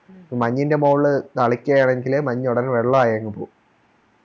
മഞ്ഞിൻറെ മോളില് തളിക്കാനെങ്കിൽ മഞ്ഞ് ഉടനെ അങ് വെള്ളയാങ് പോവും